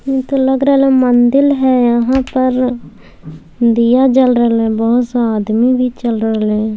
ई त लग रहले मंदील है यहाँ पर दिया जल रहले बहुत सा आदमी भी चल रहले हैं।